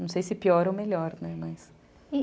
Não sei se pior ou melhor, né?